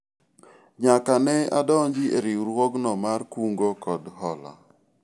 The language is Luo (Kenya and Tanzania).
nyaka ne adonji e riwruogni mar kungo kod hola